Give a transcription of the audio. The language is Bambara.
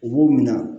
U b'u minɛ